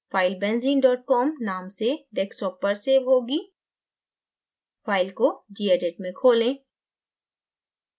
file benzene com नाम से desktop पर सेव होगी file को gedit में खोलें